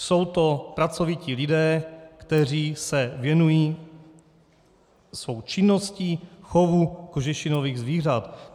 Jsou to pracovití lidé, kteří se věnují svou činností chovu kožešinových zvířat.